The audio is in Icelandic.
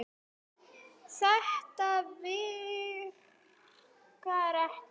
Þetta virkar ekki.